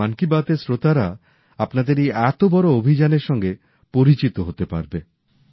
তা হলে মন কি বাত এর শ্রোতারা আপনাদের এই এত বড় অভিযানের সঙ্গে পরিচিত হতে পারবে